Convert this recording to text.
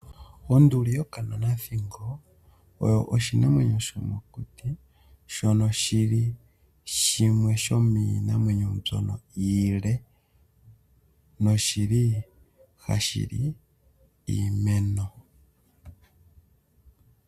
Onduli yokanonathingo oyo oshinamwenyo shomokuti shono shi li shimwe shomiinamwenyo mbyono iile noshi li hashi li iimeno.